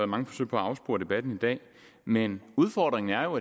mange forsøg på afspore debatten men udfordringen er jo